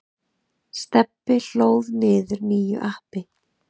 Stebbi hlóð niður nýju appi.